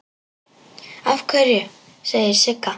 Af hverju, segir Sigga.